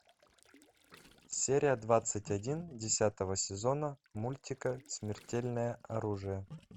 серия двадцать один десятого сезона мультика смертельное оружие